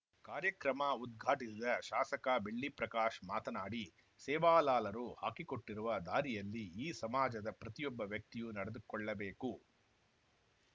ಕಾರ್ಯಕ್ರಮ ಉದ್ಘಾಟಿಸಿದ ಶಾಸಕ ಬೆಳ್ಳಿ ಪ್ರಕಾಶ್‌ ಮಾತನಾಡಿ ಸೇವಾಲಾಲರು ಹಾಕಿಕೊಟ್ಟಿರುವ ದಾರಿಯಲ್ಲಿ ಈ ಸಮಾಜದ ಪ್ರತಿಯೊಬ್ಬ ವ್ಯಕ್ತಿಯೂ ನಡೆದುಕೊಳ್ಳಬೇಕು